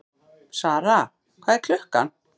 Sara, hvað er klukkan?